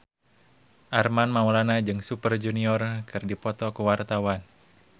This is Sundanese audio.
Armand Maulana jeung Super Junior keur dipoto ku wartawan